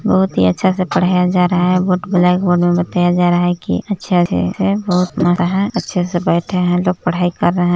बहुत ही अच्छा से पढ़ाया जा रहा है बोर्ड ब्लैक बोर्ड बताया जा रहा है कि अच्छा चीज है बहुत मस्त है अच्छे से बैठे हैं लोग पढ़ाई कर रहे हैं।